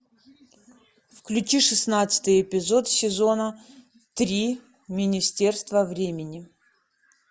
включи шестнадцатый эпизод сезона три министерство времени